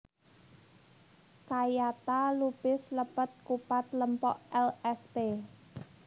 Kayata lupis lepet kupat lempok lsp